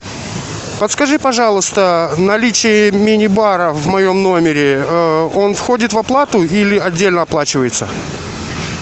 подскажи пожалуйста наличие мини бара в моем номере он входит в оплату или отдельно оплачивается